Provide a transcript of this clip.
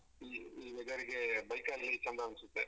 ಈ ಈ weather ಗೆ bike ಅಲ್ಲಿ ಚಂದ ಅನ್ಸುತ್ತೆ.